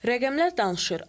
Rəqəmlər danışır.